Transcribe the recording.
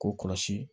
K'o kɔlɔsi